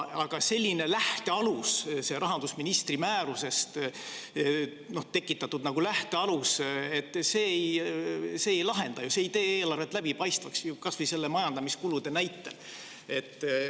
Aga selline lähtealus, rahandusministri määruse põhjal tekitatud lähtealus, ei lahenda ju, see ei tee eelarvet läbipaistvaks, kas või nende majandamiskulude näitel.